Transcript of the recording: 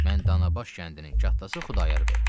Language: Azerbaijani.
Mən Danabaş kəndinin kətdası Xudayar bəyəm.